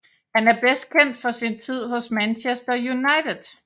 Han er bedst kendt for sin tid hos Manchester United